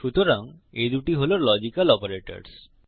সুতরাং এই দুটি হল লজিক্যাল অপারেটরস